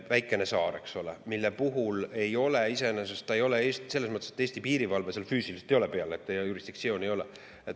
Väikene saar, eks ole, kus Eesti piirivalve füüsiliselt peal ei ole ja meie jurisdiktsiooni ei ole.